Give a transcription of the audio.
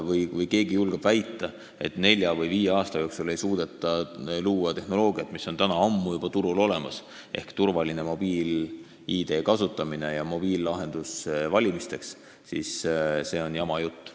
Kui keegi julgeb väita, et nelja või viie aasta jooksul ei suudeta luua tehnoloogiat, mis on juba ammu turul olemas, turvaline mobiil-ID kasutamine ja mobiillahendus valimistel, siis see on jama jutt.